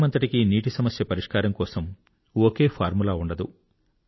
దేశమంతటికీ నీటి సమస్య పరిష్కారం కోసం ఒకే ఫార్ములా ఉండదు